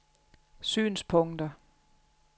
synspunkter